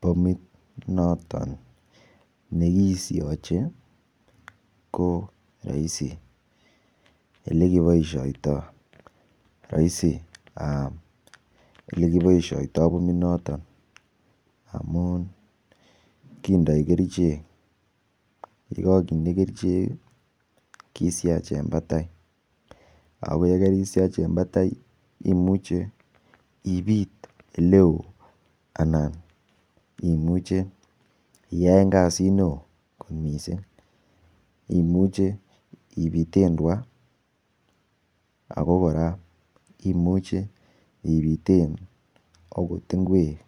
Bomit noton nekisiochei ko raisi olekipoishitoi roisi olekipoishitoi bominoton amun kindoi kerchek yekakinde kerchek kishach eng batai ako yekeishach eng batai imuche ibiit oleo anan imuche itaen kasit neo kot mising imuchei ibiten kot tuka ako kora imuche ibiten kot nguek